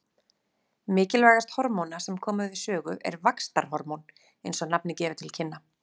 Mikilvægast hormóna sem koma við sögu er vaxtarhormón eins og nafnið gefur til kynna.